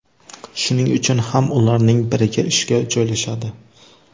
Shuning uchun ham ularning biriga ishga joylashadi.